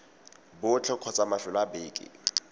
botlhe kgotsa mafelo a beke